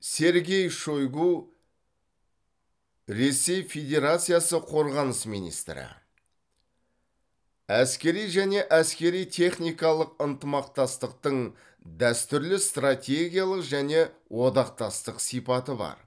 сергей шойгу ресей федерациясы қорғаныс министрі әскери және әскери техникалық ынтымақтастықтың дәстүрлі стратегиялық және одақтастық сипаты бар